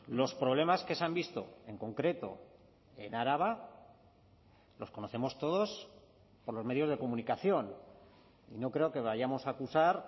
los problemas que se han visto en concreto en araba los conocemos todos por los medios de comunicación y no creo que vayamos a acusar